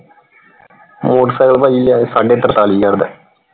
motorcycle ਪਾਜੀ ਯਾਰ ਸਾਡੇ ਤਰਤਾਲੀ ਹਜ਼ਾਰ ਦਾ।